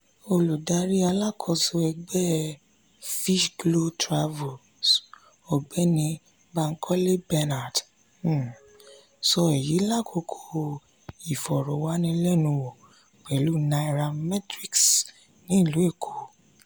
olùdarí alákóso ẹgbẹ́ ti finchglow travels ọ̀gbẹ́ni bankole bernard um sọ èyí lákòókò ìfọ̀rọ̀wánilẹ́nuwò pẹlú nairametrics ní ìlú èkó